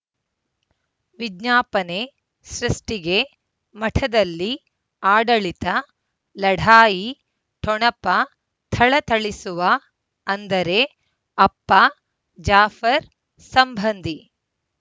ವಿಜ್ಞಾಪನೆ ಸೃಷ್ಟಿಗೆ ಮಠದಲ್ಲಿ ಆಡಳಿತ ಲಢಾಯಿ ಠೊಣಪ ಥಳಥಳಿಸುವ ಅಂದರೆ ಅಪ್ಪ ಜಾಫರ್ ಸಂಬಂಧಿ